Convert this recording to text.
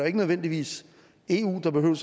ikke nødvendigvis eu der behøver